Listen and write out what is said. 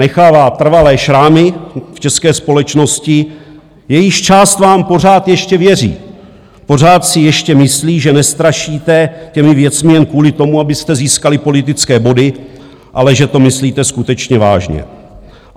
Nechává trvalé šrámy v české společnosti, jejíž část vám pořád ještě věří, pořád si ještě myslí, že nestrašíte těmi věcmi jen kvůli tomu, abyste získali politické body, ale že to myslíte skutečně vážně.